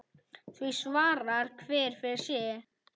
Því svarar hver fyrir sig.